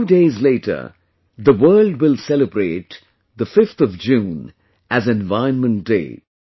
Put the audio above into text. A few days later, the world will celebrate the 5th of June as 'Environment Day'